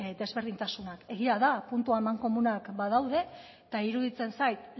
desberdintasunak egia da puntu amankomunak badaude eta iruditzen zait